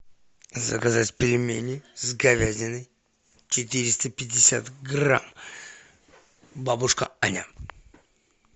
заказать пельмени с говядиной четыреста пятьдесят грамм бабушка аня